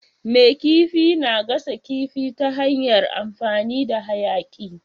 Mai kifi na gasa kifi ta hanyar amfani da hayaƙi.